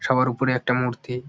সবার উপরে একটা মূর্তি ।